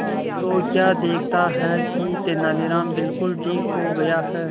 तो क्या देखता है कि तेनालीराम बिल्कुल ठीक हो गया है